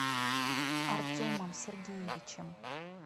артемом сергеевичем